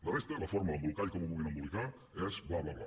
la resta la forma l’embolcall com ho vulguin embolicar és bla bla bla